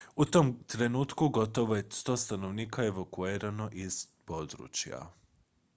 u tom trenutku gotovo je 100 stanovnika evakuirano iz područja